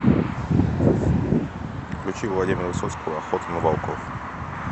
включи владимира высоцкого охота на волков